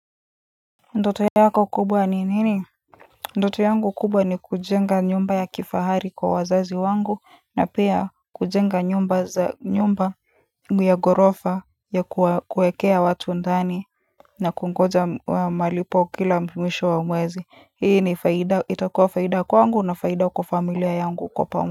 Ndoto yako kubwa ni nini ndoto yangu kubwa ni kujenga nyumba ya kifahari kwa wazazi wangu na pia kujenga nyumba za nyumba ya gorofa ya kuwekea watu ndani na kungoja wa malipo kila mwisho wa mwezi hii ni faida itakua faida kwangu na faida kwa familia yangu kwa.